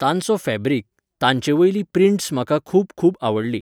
तांचो फॅब्रीक, तांचे वयली प्रिन्ट्स म्हाका खूब खूब आवडली.